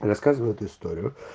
рассказывают историю